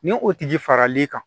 Ni o tigi fara l'i kan